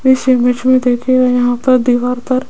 इस इमेज में देखिएगा यहां पर दीवार पर--